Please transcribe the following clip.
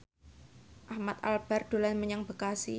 Ahmad Albar dolan menyang Bekasi